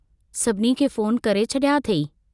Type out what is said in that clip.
सभिनी खे फोन करे छड़िया अथेई।